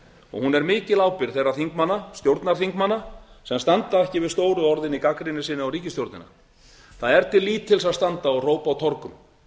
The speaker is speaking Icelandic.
og hún er mikil ábyrgð þeirra stjórnarþingmanna sem standa ekki við stóru orðin í gagnrýni sinni á ríkisstjórnina það er til lítils að standa og hrópa á torgum